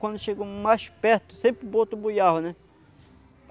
Quando chegou mais perto, sempre boto buiava, né?